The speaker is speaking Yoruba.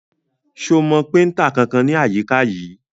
Ṣo mọ péntà kankan ní àyíká yìí?